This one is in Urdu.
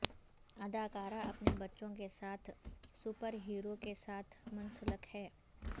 اداکار اپنے بچوں کے ساتھ سپر ہیرو کے ساتھ منسلک ہے